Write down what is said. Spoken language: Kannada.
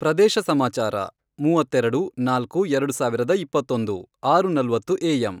ಪ್ರದೇಶ ಸಮಾಚಾರ ಮೂವತ್ತೆರೆಡು, ನಾಲ್ಕು, ಎರಡು ಸಾವಿರದ ಇಪ್ಪತ್ತೊಂದು, ಆರು ನಲವತ್ತು ಎ, ಎಮ್,